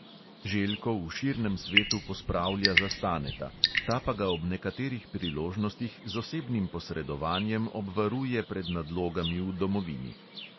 Željko v širnem svetu pospravlja za staneta, ta pa ga ob nekaterih priložnostih z osebnim posredovanjem obvaruje pred nadlogami v domovini.